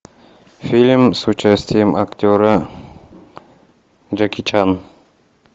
фильм с участием актера джеки чан